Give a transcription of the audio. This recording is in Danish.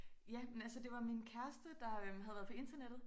Ja men altså det var min kæreste der øh havde været på internettet